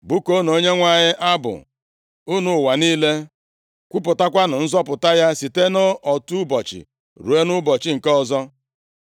Bụkuonụ Onyenwe anyị abụ, unu ụwa niile; kwupụtanụ nzọpụta ya site nʼotu ụbọchị ruo nʼụbọchị nke ọzọ.